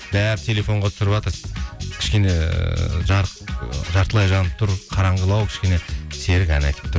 бәрі телефонға түсіріватыр кішкене ы жарық жартылай жанып тұр қараңғылау кішкене серік ән айтып тұр